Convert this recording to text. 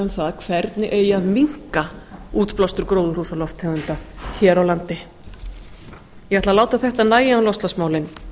um það hvernig eigi að minnka útblástur gróðurhúsalofttegunda hér á landi ég ætla að láta þetta nægja um loftslagsmálin